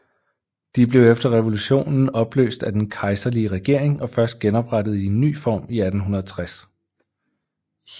De blev efter revolutionen opløst af den kejserlige regering og først genoprettet i en ny form i 1860